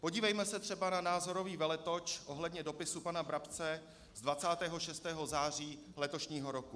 Podívejme se třeba na názorový veletoč ohledně dopisu pana Brabce z 26. září letošního roku.